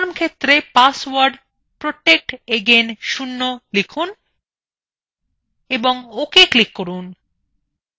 confirm ক্ষেত্রএ password protectagain0 লিখুন এবং ok click করুন